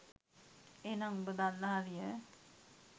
එහෙනම් උඹ දන්න හරිය.